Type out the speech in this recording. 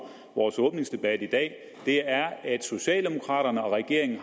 vores åbningsdebat i dag er at socialdemokraterne og regeringen